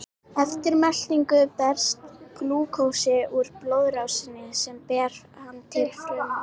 Eftir meltingu berst glúkósi út í blóðrásina sem ber hann til frumna.